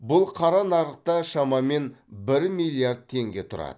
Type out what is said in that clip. бұл қара нарықта шамамен бір миллиард теңге тұрады